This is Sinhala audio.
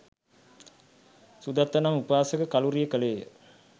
සුදත්ත නම් උපාසක කළුරිය කළේ ය.